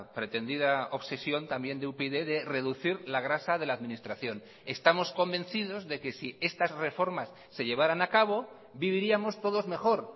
pretendida obsesión también de upyd de reducir la grasa de la administración estamos convencidos de que si estas reformas se llevaran a cabo viviríamos todos mejor